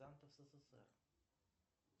ссср